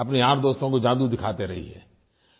अपने यारदोस्तों को जादू दिखाते रहिये